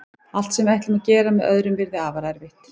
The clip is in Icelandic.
Allt sem við ætlum að gera með öðrum yrði afar erfitt.